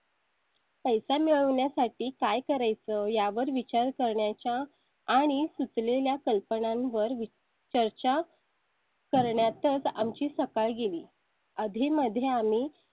पैसा मिळवण्या साठी काय करायचं यावर विचार करण्याच्या आणि सुचलेल्या कल्पनां वर चर्चा. करण्याचा आम ची सकाळ गेली आधी मध्ये